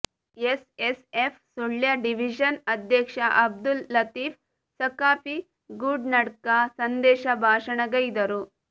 S S F Sullia division ಅಧ್ಯಕ್ಷ ಅಬ್ದುಲ್ ಲತೀಫ್ ಸಖಾಫಿ ಗೂನಡ್ಕ ಸಂದೇಶ ಭಾಷಣ ಗೈದರು